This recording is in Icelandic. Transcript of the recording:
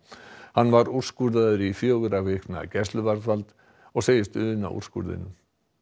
hann var úrskurðaður í fjögurra vikna gæsluvarðhald og sagðist una úrskurðinum